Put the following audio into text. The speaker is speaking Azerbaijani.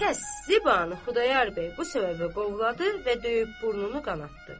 Tərs Zibanı Xudayar bəy bu səbəbə qovladı və döyüb burnunu qanadtdı.